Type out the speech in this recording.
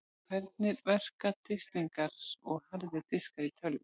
Hvernig verka disklingar og harðir diskar í tölvum?